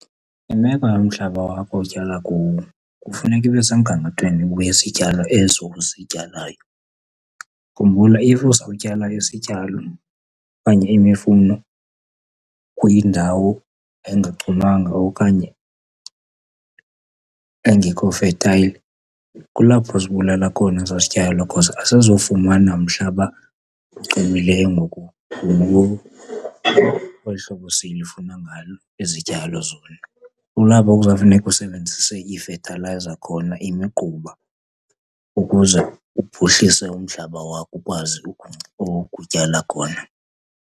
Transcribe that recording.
Imeko yomhlaba wakho otyala kuwo kufuneka ibe semgangathweni wezityalo ezo uzityalayo. Khumbula, if uzawutyala isityalo okanye imifuno kwindawo engachumanga okanye engekho fertile, kulapho uzibulala khona ezaa zityalo because azizufumana mhlaba uchumileyo ngokolu hlobo silifuna ngalo izityalo zona. Kulapho kuzawufuneka usebenzise iifethalayiza khona, imigquba ukuze uphuhlise umhlaba wakho ukwazi ukutyala khona.